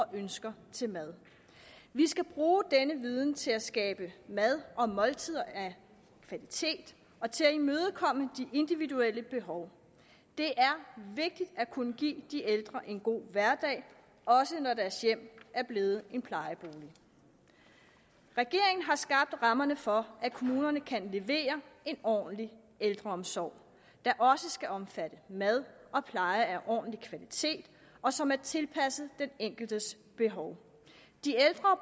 ønsker til mad vi skal bruge denne viden til at skabe mad og måltider af kvalitet og til at imødekomme de individuelle behov det er vigtigt at kunne give de ældre en god hverdag også når deres hjem er blevet en plejebolig regeringen har skabt rammerne for at kommunerne kan levere en ordentlig ældreomsorg der også skal omfatte mad og pleje af ordentlig kvalitet og som er tilpasset den enkeltes behov de ældre